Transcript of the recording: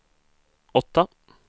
åtta